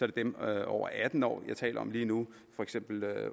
det dem over atten år jeg taler om lige nu for eksempel